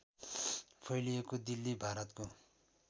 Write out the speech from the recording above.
फैलिएको दिल्ली भारतको